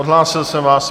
Odhlásil jsem vás.